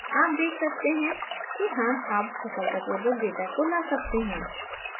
आप देख सकते हैं कि हम अब सफलतापूर्वक data को ला सके हैं